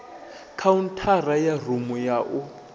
khaunthara ya rumu ya u